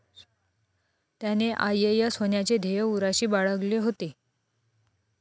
त्याने आयएएस होण्याचे ध्येय उराशी बाळगले होते.